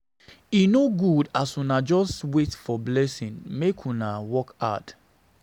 E no good as una just wait for blessing, make una dey work hard.